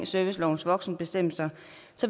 servicelovens voksenbestemmelser